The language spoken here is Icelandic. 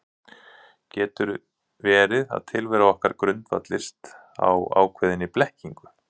Getur verið að tilvera okkar grundvallist á ákveðinni blekkingu?